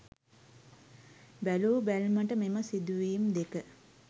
බැලූ බැල්මට මෙම සිදුවීම් දෙක